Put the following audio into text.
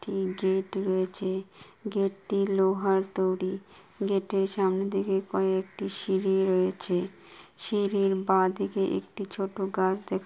একটি গেট রয়েছে গেট টি লোহার তৈরি গেট এর সামনে দিকে কয়েকটি সিঁড়ি রয়েছে সিড়ির বাদিকে একটি ছোটো গাছ দেখা--